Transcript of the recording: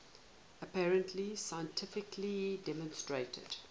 apparently scientifically demonstrated